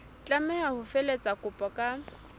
tlameha ho felehetsa kopo ka